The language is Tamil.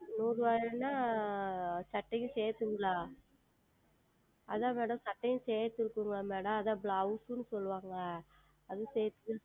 நூறு ரூபாய் என்றால் சட்டையும் சேர்த்த அது தான் Madam சட்டையும் சேர்த்து இருக்கிறதா Madam அது தான் Blouse என்று சொல்லுவார்கள் அது சேர்த்து